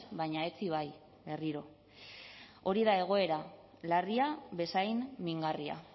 baina etzi bai berriro hori da egoera larria bezain mingarria